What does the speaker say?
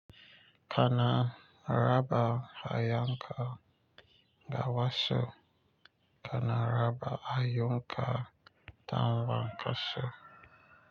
Kana raba hayan ka gawasu, kana raba hayanka tanwankasu.